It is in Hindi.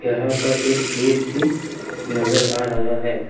यहां पर एक गेट भी नजर आ रहा है।